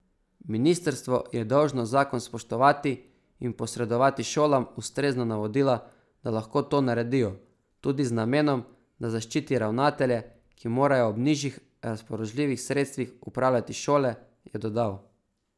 Ministrstvo je dolžno zakon spoštovati in posredovati šolam ustrezna navodila, da lahko to naredijo, tudi z namenom, da zaščiti ravnatelje, ki morajo ob nižjih razpoložljivih sredstvih upravljati šole, je dodal.